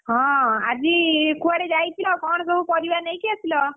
ହଁ ଆଜି କୁଆଡେ ଯାଇଥିଲ? କଣ ସବୁ ପରିବା ନେଇକି ଆସିଲ?